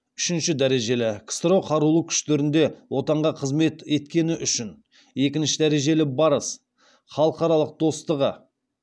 үшінші дәрежелі ксро қарулы күштерінде отанға қызмет еткені үшін екінші дәрежелі барыс халықаралық достығы